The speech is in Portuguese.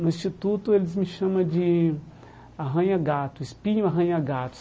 No instituto, eles me chama de arranha-gato, espinho-arranha-gato.